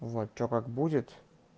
вот что как будет